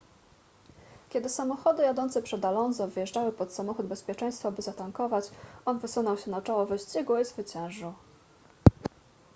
kiedy samochody jadące przed alonso wjeżdżały pod samochód bezpieczeństwa by zatankować on wysunął się na czoło wyścigu i zwyciężył